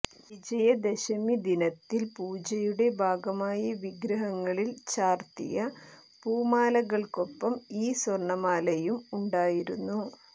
വിജയദശമി ദിനത്തിൽ പൂജയുടെ ഭാഗമായി വിഗ്രഹങ്ങളിൽ ചാർത്തിയ പൂമാലകൾക്കൊപ്പം ഈ സ്വർണമാലയും ഉണ്ടായിരുന്നു